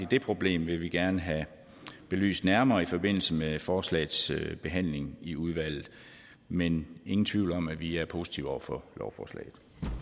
det problem vil vi gerne have belyst nærmere i forbindelse med forslagets behandling i udvalget men ingen tvivl om at vi er positive over for lovforslaget